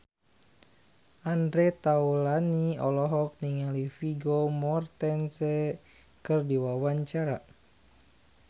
Andre Taulany olohok ningali Vigo Mortensen keur diwawancara